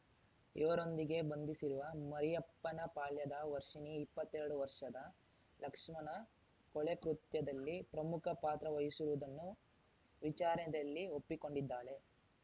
ಇವರೊಂದಿಗೆ ಬಂಧಿಸಿರುವ ಮರಿಯಪ್ಪನಪಾಳ್ಯದ ವರ್ಷಿಣಿ ಇಪ್ಪತ್ತೆರಡು ವರ್ಷದ ಲಕ್ಷ್ಮಣ ಕೊಲೆಕೃತ್ಯದಲ್ಲಿ ಪ್ರಮುಖ ಪಾತ್ರ ವಹಿಸುವುದನ್ನು ವಿಚಾರದಲ್ಲಿ ಒಪ್ಪಿಕೊಂಡಿದ್ದಾಳೆ